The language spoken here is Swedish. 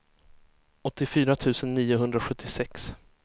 åttiofyra tusen niohundrasjuttiosex